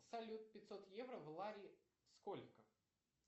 салют пятьсот евро в лари сколько